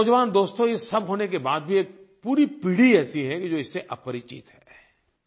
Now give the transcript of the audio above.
मेरे नौजवान दोस्तो ये सब होने के बाद भी एक पूरी पीढ़ी ऐसी है कि जो इससे अपरिचित है